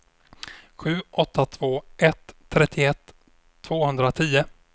sju åtta två ett trettioett tvåhundratio